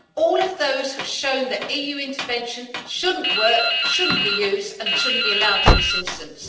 All of those have shown that EU intervention doesn't work, shouldn't be used, and shouldn't be allowed in this instance.